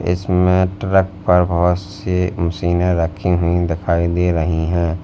इसमें ट्रक पर बहोत सी मशीनें रखी हुई दिखाई दे रही हैं।